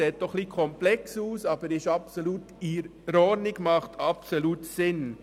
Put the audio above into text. Es sieht ein wenig komplex aus, ist aber absolut in Ordnung und macht absolut Sinn.